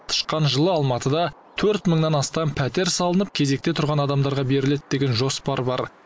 тышқан жылы алматыда төрт мыңнан астам пәтер салынып кезекте тұрған адамдарға беріледі деген жоспар бар